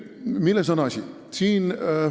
Milles on asi?